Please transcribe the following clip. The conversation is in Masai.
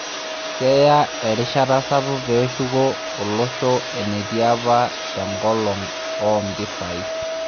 Keya erishata sapuk pee eshuko olosho enetii apa tengolon oo mpisai